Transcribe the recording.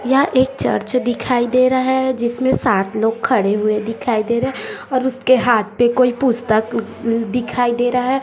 यहां एक चर्च दिखाई दे रहा है जिसमें सात लोग खड़े हुए दिखाई दे रहे और उसके हाथ पर कोई पुस्तक दिखाई दे रहा है--